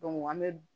an bɛ